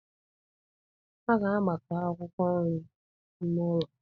A ga-agbakọ akwụkwọ nri n'ime ụlọ.